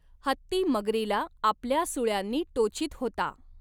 हत्ती, मगरीला आपल्या सुळ्यांनी टोचीत होता.